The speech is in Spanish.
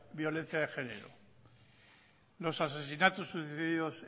violencia de género los asesinatos sucedidos